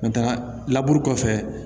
laburu kɔfɛ